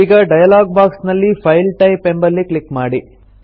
ಈಗ dialog box ನಲ್ಲಿ file type ಎಂಬಲ್ಲಿ ಕ್ಲಿಕ್ ಮಾಡಿ